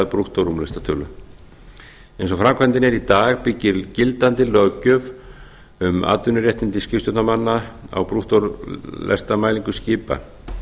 brúttórúmlestatölu eins og framkvæmdin er í dag byggir gildandi löggjöf um atvinnuréttindi skipstjórnarmanna á brúttólestamælingum skipa